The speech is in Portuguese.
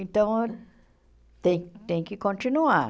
Então, tem tem que continuar.